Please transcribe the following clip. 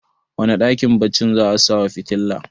wane dakin baccin za a sawa fitila